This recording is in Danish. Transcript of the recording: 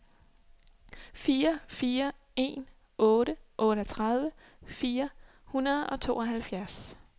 fire fire en otte otteogtredive fire hundrede og tooghalvfjerds